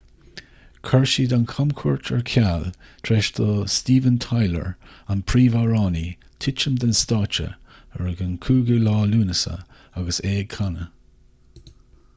chuir siad an chamchuairt ar ceal tar éis do steven tyler an príomhamhránaí titim den stáitse ar an 5 lúnasa agus é ag canadh